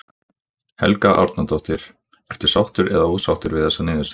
Helga Arnardóttir: Ertu sáttur eða ósáttur við þessa niðurstöðu?